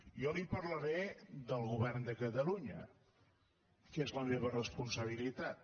jo li parlaré del govern de catalunya que és la me·va responsabilitat